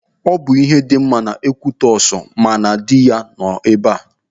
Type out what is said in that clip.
Ọ bụ ihe dị mma na Ekwitọsị ma na dị ya nọ ebe.